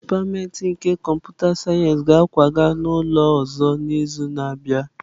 Dipatịmentị nke kọmputa sayensị ga-akwaga n'ụlọ ọzọ n'izu na-abịa.